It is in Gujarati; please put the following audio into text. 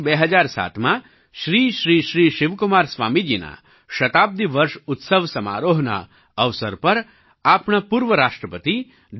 વર્ષ 2007માં શ્રી શ્રી શ્રી શિવકુમાર સ્વામીજીના શતાબ્દિ વર્ષ ઉત્સવ સમારોહના અવસર પર આપણા પૂર્વ રાષ્ટ્રપતિ ડૉ